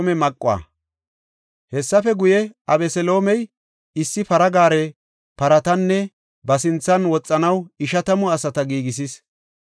Hessafe guye, Abeseloomey issi para gaare, paratanne ba sinthan woxanaw ishatamu asata giigisis.